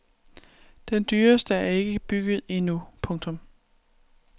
Den dyreste er ikke bygget endnu. punktum